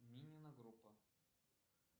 минина группа